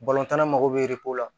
tan na mago bɛ la